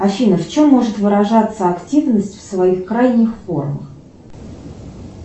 афина в чем может выражаться активность в своих крайних формах